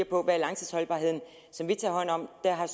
på langtidsholdbarheden som vi tager hånd om dér har